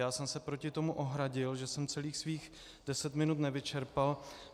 Já jsem se proti tomu ohradil, že jsem celých svých deset minut nevyčerpal.